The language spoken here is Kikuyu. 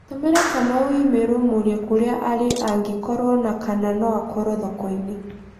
tũmĩra Kamau i-mīrū ũmũũrie kũria arĩ angĩkorũo na kana no akorũo thoko-inĩ